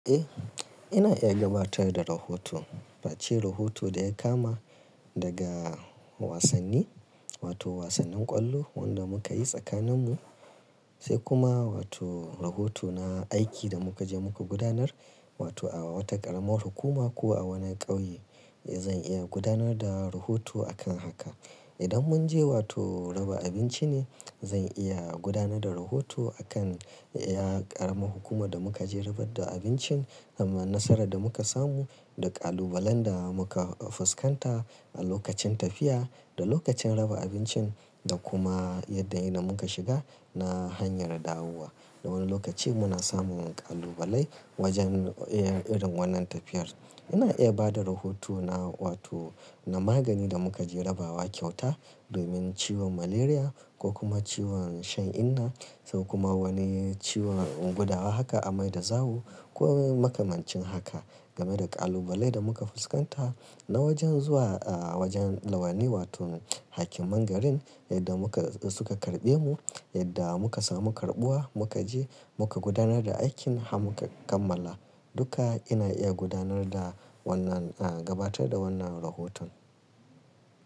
Eh, ina iya gabatar da rahoto. Face rahoto da ya kama daga wasanni, wato wasannin ƙwallo wanda muka yi tsakaninmu, sai kuma wato rahoto na aiki da muka je muka gudanar, wato a wata ƙaramar hukuma ko a wani ƙauye. Eh, zan iya gudanar da rahoto a kan haka. Idan munje wato raba abinci ne, zan iya gudanar da rahoto a kan ƙaramar hukumar da muka je rabar da abincin, wannan nasarar da muka samu da ƙalubalen da muka fuskanta a lokacin tafiya da lokacin raba abincin da kuma yadda ya muka shiga na hanyar dawowa. Dan wani lokaci muna samun ƙalubalai wajen irin wannan tafiyar. Ina iya bada rahoto na wato na magani da mukaje rabawa kyauta domin ciwon malaria ko kuma ciwon shan inna, sai kuma wani ciwon gudawa haka amai da zawo ko makamancin haka game da ƙalubalai da muka fuskanta na wajen zuwa wajen lawani wato hakiman garin yadda muka suka karɓe mu, yadda muka samu karɓuwa muka je muka gudanar da aikin har muka kammala. Duka ina iya gudanar da wannan, gabatar da wannan rahoton.